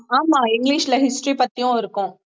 ஆமா இங்கிலிஷ்ல history பத்தியும் இருக்கும்